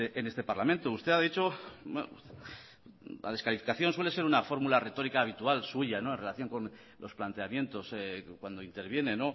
en este parlamento usted ha dicho la descalificación suele ser una fórmula retórica habitual suya en relación con los planteamientos cuando interviene